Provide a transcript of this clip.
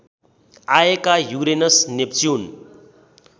आएका Uranus Neptune